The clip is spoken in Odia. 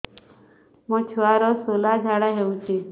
ମୋ ଛୁଆର ସୁଳା ଝାଡ଼ା ହଉଚି